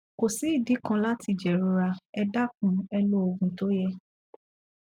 kò sí ìdí kan láti jẹrora ẹ dákun ẹ lo òògùn tó yẹ